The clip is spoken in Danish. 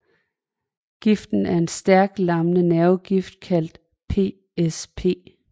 Giften er en stærk lammende nervegift kaldtet PSP